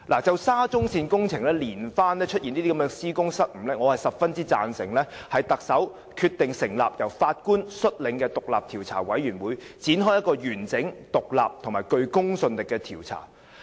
就沙中線工程連番出現施工失誤，我十分贊成特首決定成立由法官率領的獨立調查委員會，展開一個完整、獨立及具公信力的調查。